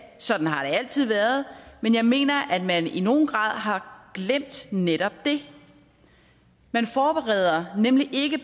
sådan har det altid været men jeg mener at man i nogen grad har glemt netop det man forbereder nemlig ikke